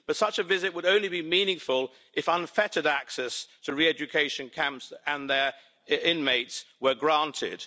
But such a visit would only be meaningful if unfettered access to re-education camps and their inmates were granted.